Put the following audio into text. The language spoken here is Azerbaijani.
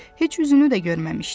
Heç üzünü də görməmişdi.